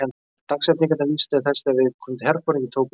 Dagsetningarnar vísa til þess þegar viðkomandi herforingi tók við stjórn.